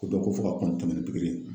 Ko dɔ ko fɔ ka tɛmɛn ni pikiri ye.